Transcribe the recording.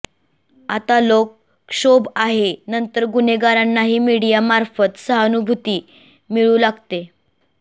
आता लोक क्षोभ आहे नंतर गुन्हेगारांनाही मीडियामार्फत सहानुभूती मिळू लागते